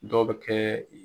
Dɔw bɛ kɛ.